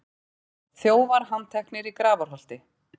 Þjófar handteknir í Grafarholti